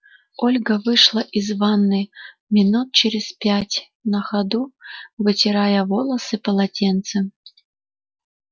ольга вышла из ванны минут через пять на ходу вытирая волосы полотенцем